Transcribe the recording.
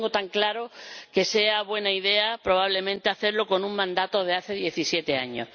No tengo tan claro que sea buena idea, probablemente, hacerlo con un mandato de hace diecisiete años.